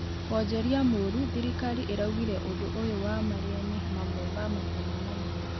Wonjorĩa mũrũ thĩrĩkarĩ ĩraũgĩre ũndũ ũyũ wa Marĩa nĩ mamwe ma mathĩna manene